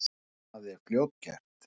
Það er fljótgert.